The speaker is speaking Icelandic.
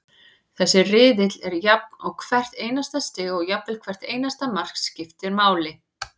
Þessi riðill er jafn og hvert einasta stig og jafnvel hvert einasta mark, skiptir máli.